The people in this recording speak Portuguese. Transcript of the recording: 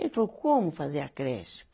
Ele falou, como fazer a creche?